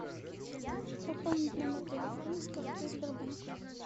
пополнить номер телефона с карты сбербанк